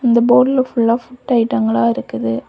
இந்த போர்டுல ஃபுல்லா புட் ஐட்டங்களா இருக்குது.